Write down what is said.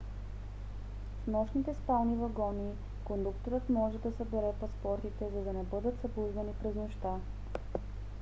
в нощните спални вагони кондукторът може да събере паспортите за да не бъдете събуждани през нощта